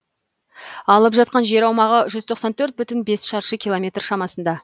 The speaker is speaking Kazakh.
алып жатқан жер аумағы жүз тоқсан төрт бүтін бес шаршы километр шамасында